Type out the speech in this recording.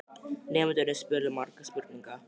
Nemendurnir spurðu margra spurninga.